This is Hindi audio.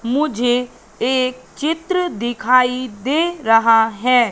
मुझे एक चित्र दिखाई दे रहा है।